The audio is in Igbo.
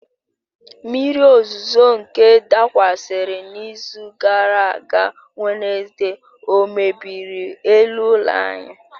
Mmiri ozuzo nke dakwasịrị n'izu gara aga Wenezde ọ mebiri elu ụlọ anyị?